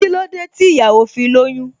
Kílódé tí ìyàwó fi lóyún?